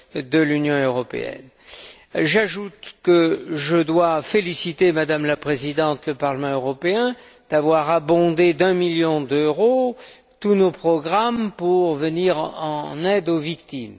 de l'Union européenne. J'ajoute que je dois, Madame la Présidente, féliciter le Parlement européen d'avoir doté d'un million d'euros tous nos programmes pour venir en aide aux victimes.